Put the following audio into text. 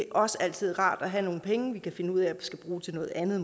er også altid rart at have nogle penge vi kan finde ud af skal bruge til noget andet